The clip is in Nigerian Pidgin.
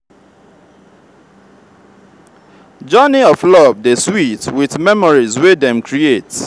journey of love dey sweet with memories wey dem create.